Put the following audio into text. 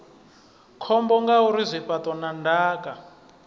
khombo ngauri zwifhaṱo na ndaka